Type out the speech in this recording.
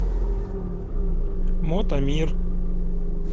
мотомир